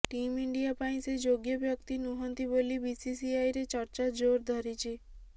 team India ପାଇଁ ସେ ଯୋଗ୍ୟ ବ୍ୟକ୍ତି ନୁହନ୍ତି ବୋଲି ବିସିସିଆଇରେ ଚର୍ଚ୍ଚା ଜୋର୍ ଧରିଛି